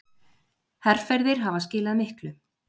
Herferðir hafa skilað miklu.